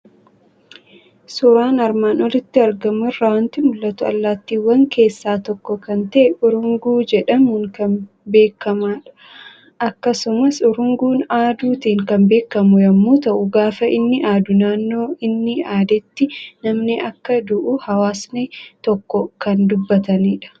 Suuraan armaan olitti argamu irraa waanti mul'atu; Allaattiwwan keessaa tokko kan ta'e, Urunguu jedhamuun kan beekamadha. Akkasumas Urunguun aaduutin kan beekamu yommuu ta'u, gaafa inni aaduu naannoo inni aadeetti namni akka du'uu hawaasni tokko kan dubbatanidha.